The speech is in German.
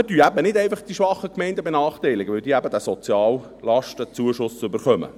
Wir benachteiligen eben nicht einfach die schwachen Gemeinden, weil die eben diesen Soziallastenzuschuss erhalten.